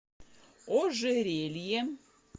ожерелье